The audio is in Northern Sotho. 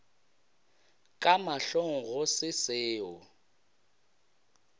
ka mahlong go se seo